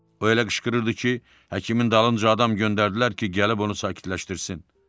O elə qışqırırdı ki, həkimin dalınca adam göndərdilər ki, gəlib onu sakitləşdirsin.